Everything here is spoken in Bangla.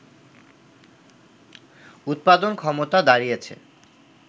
উৎপাদন ক্ষমতা দাঁড়িয়েছে